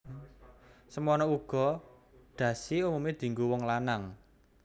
Semana uga dhasi umumé dienggo wong lanang